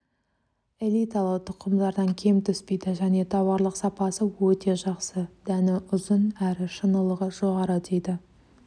элиталы тұқымдардан кем түспейді және тауарлық сапасы өте жақсы дәні ұзын әрі шынылығы жоғары дейді